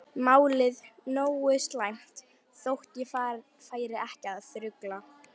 Málið nógu slæmt þótt ég færi ekki að þrugla.